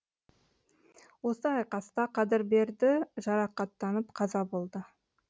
осы айқаста қадырберді жарақаттанып қаза болды